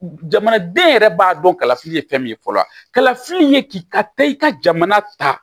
Jamanaden yɛrɛ b'a dɔn kalafili ye fɛn min ye fɔlɔ kalafili ye ki ka taa i ka jamana ta